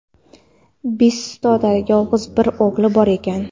bisotida yolg‘iz bir o‘g‘li bor ekan.